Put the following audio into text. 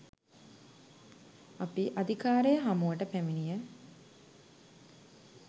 අපි අධිකාරය හමුවට පැමිණිය